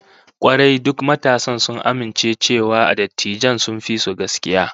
Kwarai, duk matasan sun amince cewa dattijan sun fi su gaskiya